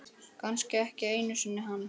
Kannski ekki einu sinni hann.